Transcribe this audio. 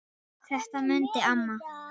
Þetta mundi amma.